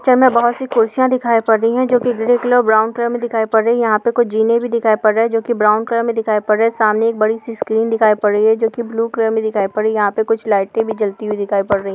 Picture में बहुत सी कुर्सियां दिखाई पर रही हैं जो की ग्रीन कलर ब्राउन कलर की दिखाई पर रही हैं यहां पर जीने भी दिखाई पर रही हैं जोकी ब्राउन कलर मे दिखाई पर रही हैं सामने बड़ी स्क्रीन दिखाई पर रही है जो की ब्लू कलर मे दिखाई पर रही हैं यहां पर कुछ लाइट भी दिखाई पर रही हैं।